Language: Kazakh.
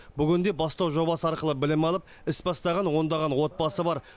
бүгінде бастау жобасы арқылы білім алып іс бастаған ондаған отбасы бар